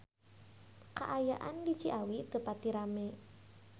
Kaayaan di Ciawi teu pati rame